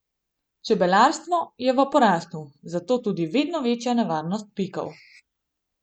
Čebelarstvo je v porastu, zato tudi vedno večja nevarnost pikov.